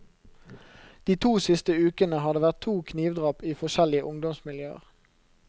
De to siste ukene har det vært to knivdrap i forskjellige ungdomsmiljøer.